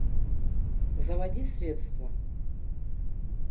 заводи средство